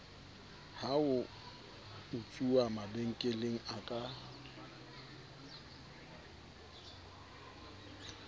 ho utsuwa mabenkeleng a ka